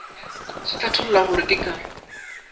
se hlatholla gore ke ka